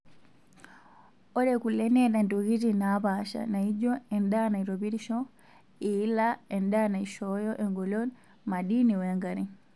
Ore kule neeta ntokitin naapasha naijio; endaa naitopirisho, iila, endaa naishooyo engolon, madini wenkare.